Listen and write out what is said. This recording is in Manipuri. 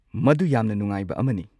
ꯃꯗꯨ ꯌꯥꯝꯅ ꯅꯨꯡꯉꯥꯏꯕ ꯑꯃꯅꯤ꯫